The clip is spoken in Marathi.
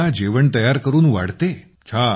मुलांना जेवण बनवून वाढते